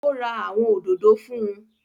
Ó ra àwọn òdòdó fún